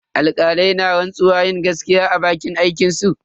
Alkalai na rantsuwar yin gaskiya a bakin aikinsu.